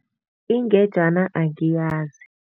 Ingejana angiyazi.